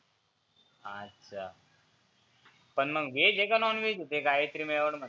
अच्छा पण मग व्हेज आहे की नॉनव्हेज ते गायत्री मेवाड